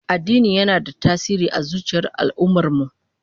Addini yana da tasiri a zuciyar al'ummar mu